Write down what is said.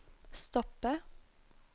stoppe